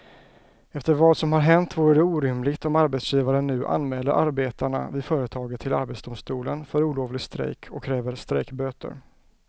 Efter vad som har hänt vore det orimligt om arbetsgivaren nu anmäler arbetarna vid företaget till arbetsdomstolen för olovlig strejk och kräver strejkböter.